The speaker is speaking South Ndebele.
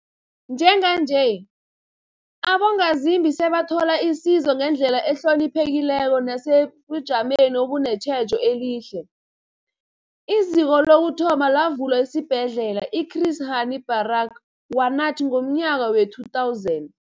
Njenganje, abongazimbi sebathola isizo ngendlela ehloniphekileko nesebujameni obunetjhejo elihle. IZiko lokuthoma lavulwa esiBhedlela i-Chris Hani Baragwanath ngomnyaka we-2000.